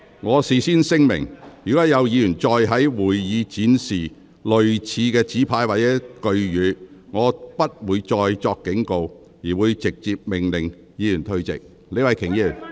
我事先聲明，若有議員再在會議廳展示類似的紙牌或語句，我將不會再作警告，而會直接命令有關議員退席。